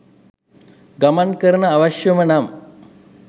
ගමන් කරන්න අවශ්‍යම නම්